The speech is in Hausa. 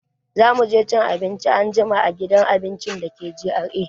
Za mu je cin abinci anjima a gidan abinci da ke GRA.